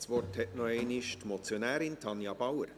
Das Wort hat noch einmal die Motionärin Tanja Bauer.